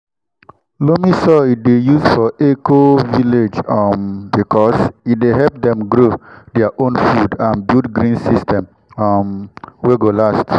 loamy soil dey used for eco-village um because e dey help dem grow their own food and build green system um wey go last.